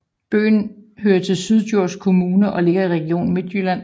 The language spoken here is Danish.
Byen hører til Syddjurs Kommune og ligger i Region Midtjylland